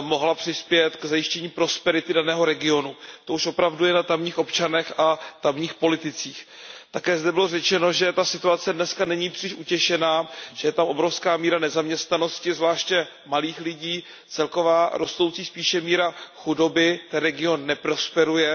mohla přispět k zajištění prosperity daného regionu, to už je opravdu na tamních občanech a tamních politicích. Také zde bylo řečeno, že ta situace dneska není příliš utěšená, že je tam obrovská míra nezaměstnanosti, zvláště mladých lidí, celková spíše rostoucí míra chudoby, ten region neprosperuje